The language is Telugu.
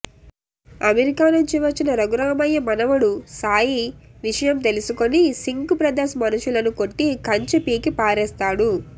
అమెరికా నుంచి వచ్చిన రఘురామయ్య మనవడు సాయి విషయం తెలుసుకుని సింక్ బ్రదర్స్ మనుషులను కొట్టి కంచె పీకి పారేస్తాడు